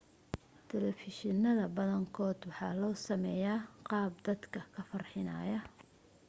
telefishannada badankood waxaa loo sameeyaa qaab dad dadka ka farxinaya